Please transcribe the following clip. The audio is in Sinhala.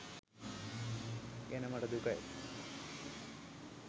ගැන මට දුකයි.